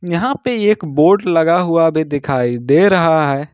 यहां पे एक बोर्ड लगा हुआ भी दिखाई दे रहा है।